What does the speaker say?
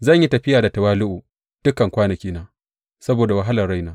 Zan yi tafiya da tawali’u dukan kwanakina saboda wahalar raina.